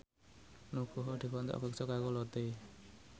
Nugroho dikontrak kerja karo Lotte